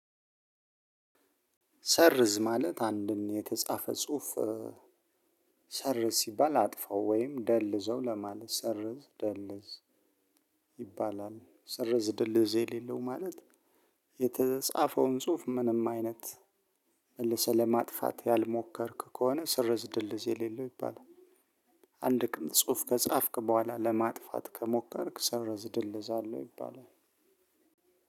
ሰርዝ ማለት አንድን የተጻፈ ጽሁፍ ሰርዝ ሲባል አጥፋው ወይም ደልዘው ለማለት ሰርዝ ደልዝ ይባላል። ሰርዝ ደልዝ የሌለው ማለት የተጻፈውን ጽሁፍ ምንም አይነት መልሰህ ለማጥፋት ያልሞከርክ ከሆነ ሰርዝ ድልዝ የሌለው ይባላል። አንድ ጽሁፍ ከጻፍክ በኋላ ለማጥፋት ከሞከርክ ሰረዝ ድልዝ አለው ይባላል።